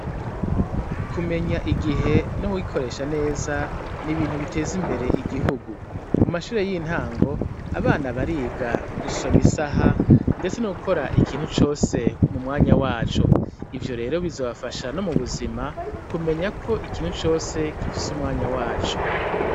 Kumenya igihe no kugikoresha neza n'ibintu bitez'imbere igihugu, mu mashure y'intango abana bariga gusoma isaha ,ndetse no gukora ikintu cose k'umwanya waco, ivyo rero bizobafasha no mu buzima kumenya ko ikintu cose gifise umwanya waco.